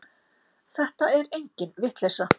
Þetta er engin vitleysa.